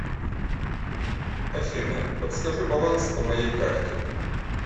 афина подскажи баланс по моей карте